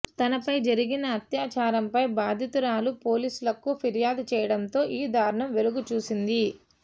తనపై జరిగిన అత్యాచారంపై బాధితురాలు పోలీసులకు పిర్యాదు చేయడంతో ఈ దారుణం వెలుగుచూసింది